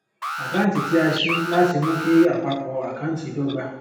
àkàǹtì tí a ṣi láti mú kí àpapọ àkáǹtì dọgba